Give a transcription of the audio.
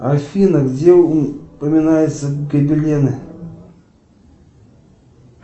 афина где упоминаются гобелены